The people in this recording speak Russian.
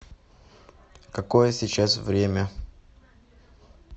какое сейчас время